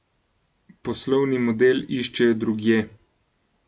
Poslovni model iščejo drugje.